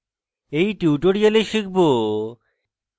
in tutorial শিখব: